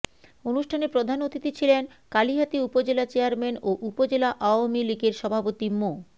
অনুষ্ঠানে প্রধান অতিথি ছিলেন কালিহাতী উপজেলা চেয়ারম্যান ও উপজেলা আওয়ামী লীগের সভাপতি মো